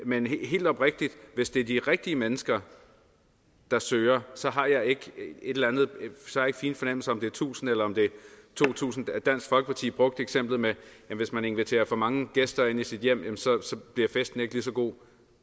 men helt oprigtigt at hvis det er de rigtige mennesker der søger så har jeg ikke fine fornemmelser det er tusind eller om det er to tusind dansk folkeparti brugte eksemplet med at hvis man inviterer for mange gæster ind i sit hjem bliver festen ikke lige så god